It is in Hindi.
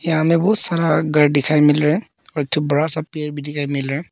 यहाँ हमे बहोत सारा घर दिखाई मिल रहा और एक ठो बड़ा पेड़ दिखाई मिल रहा--